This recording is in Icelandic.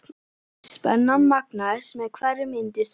Spennan magnaðist með hverri mínútu sem leið.